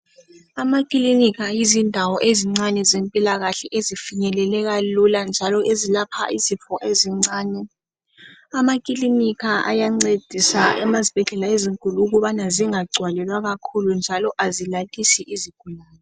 Amakilinika yizindawo ezincane ezempilakahle ezifenyeleleka lula njalo ezilapha izifo ezincane. Amakilinika ayancedisa amasbhedlela ezinkulu ukuba zingagcwalelwa kakhulu njalo azilalisi izigulane.